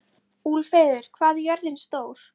Úlfheiður, hvað er jörðin stór?